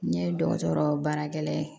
N ɲe dɔgɔtɔrɔ baarakɛla ye